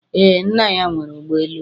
Ee, nna ya nwere ụgbọ elu